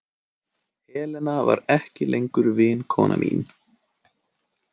Helena var ekki lengur vinkona mín.